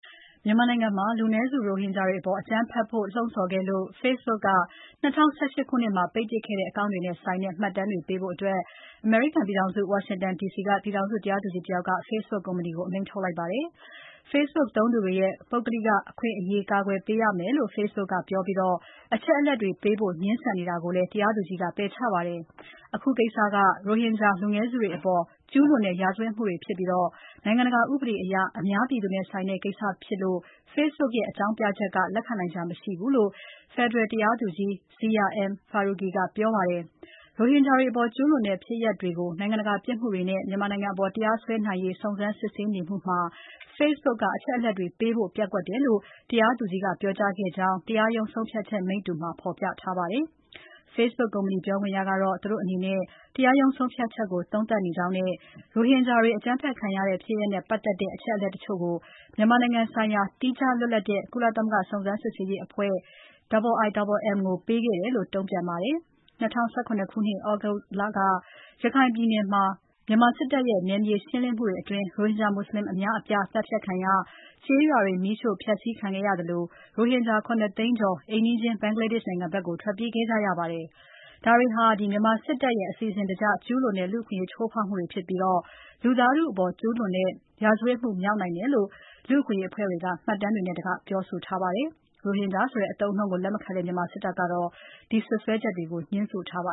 မြန်မာနိုင်ငံမှာ လူနည်းစုရိုဟင်ဂျာတွေအပေါ် အကြမ်းဖက်ဖို့ လှုံ့ဆော်ခဲ့လို့ Facebook က ၂၀၁၈ ခုနှစ်မှာ ပိတ်ပစ်ခဲ့တဲ့ အကောင့်တွေနဲ့ ဆိုင်တဲ့မှတ်တမ်းတွေကိုပေးဖို့ အမေရိကန်ပြည်ထောင်စု Washington D.C က ပြည်ထောင်စု တရားသူကြီးတယောက်က Facebook ကုမ္ပဏီကို အမိန့်ထုတ်လိုက်ပါတယ်။ Facebook သုံးသူတွေရဲ့ ပုဂ္ဂလိကအခွင့်အရေး ကာကွယ်ပေးရမယ်လု့ိ Facebook ကပြောပြီး အချက်အလက်တွေပေးဖို့ ငြင်းဆန်နေတာကိုလည်း တရားသူကြီးက ပယ်ချခဲ့ပါတယ်။ အခုကိစ္စက ရိုဟင်ဂျာ လူနည်းစုတွေအပေါ် ကျူးလွန်တဲ့ ရာဇဝတ်မှုတွေဖြစ်ပြီး နိုင်ငံတကာဥပဒေအရ အများပြည်သူနဲ့ဆိုင်တဲ့ကိစ္စဖြစ်လို့ Facebook ရဲ့ အကြောင်းပြချက်က လက်ခံနိုင်စရာမရှိဘူးလို့ ဖက်ဒရယ်တရားသူကြီး Zia M. Faruqui ကပြောပါတယ်။ ရိုဟင်ဂျာတွေအပေါ် ကျူးလွန်ခဲ့တဲ့ ဖြစ်ရပ်တွေကို နိုင်ငံတကာပြစ်မှုတွေအဖြစ် မြန်မာနိုင်ငံအပေါ် တရားစွဲနိုင်ရေး စုံစမ်းစစ်ဆေးနေမှုမှာ Facebook ကအချက်အလက်တွေပေးဖို့ ပျက်ကွက်တယ်လို့ တရားသူကြီးက ပြောကြားခဲ့ကြောင်း တရားရုံးဆုံးဖြတ်ချက်မိတ္တူမှာ ဖော်ပြထားပါတယ်။ Facebook ကုမ္ပဏီ ပြောခွင့်ရကတော့ သူတို့အနေနဲ့ အခုကိစ္စကို ပြန်လည် သုံးသပ်နေပြီး ရိုဟင်ဂျာတွေ အကြမ်းဖက်ခံရတဲ့ ဖြစ်ရပ်နဲ့ပတ်သက်တဲ့ အချက်အလက်တချို့ကို မြန်မာနိုင်ငံဆိုင်ရာ သီးခြား လွတ်လပ်တဲ့ ကုလသမဂ္ဂ စုံစမ်းစစ်ဆေးရေးအဖွဲ့ IIMM ကို ပေးခဲ့တယ်လို့ တုံ့ပြန်ပါတယ်။ ၂၀၁၇ ခုနှစ် သြဂုတ်လက ရခိုင်ပြည်နယ်မှာ မြန်မာစစ်တပ်ရဲ့နယ်မြေရှင်းလင်းမှုတွေအတွင်း ရိုဟင်ဂျာမွတ်စလင် အများအပြား သတ်ဖြတ်ခံရ၊ ကျေးရွာတွေ မီးရှို့ဖျက်ဆီးခံခဲ့ရသလို ရိုဟင်ဂျာ ၇ သိန်းကျော် အိမ်နီးချင်း ဘင်္ဂလားဒေ့ရှ်နိုင်ငံဘက် ထွက်ပြေးခဲ့ကြရပါတယ်။ ဒါတွေဟာ မြန်မာစစ်တပ်ရဲ့ အစီအစဉ်တကျ ကျူးလွန်တဲ့ လူ့အခွင့်အရေး ချိုးဖောက်မှုတွေဖြစ်ပြီး လူသားထုအပေါ် ကျူးလွန်တဲ့ ရာဇဝတ်မှုမြောက်နိုင်တယ်လို့ လူ့အခွင့်အရေးအဖွဲ့တွေက မှတ်တမ်းတွေနဲ့တကွ ပြောဆိုထားပါတယ်။ ရိုဟင်ဂျာဆိုတဲ့ အသုံးအနှုန်းကို လက်မခံတဲ့ မြန်မာစစ်တပ်ကတော့ ဒီစွပ်စွဲချက်တွေကို ငြင်းဆိုထားပါ